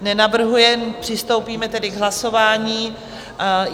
Nenavrhuje, přistoupíme tedy k hlasování.